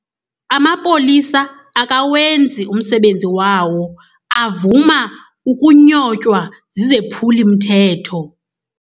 Amapolisa akawenzi umsebenzi wawo, avuma ukunyotywa zizephulimthetho.